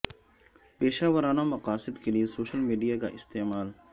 پیشہ ورانہ مقاصد کے لئے سوشل میڈیا کا استعمال